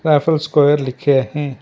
यहां पर स्क्वायर लिखे हैं।